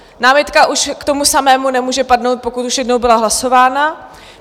Námitka už k tomu samému nemůže padnout, pokud už jednou byla hlasována.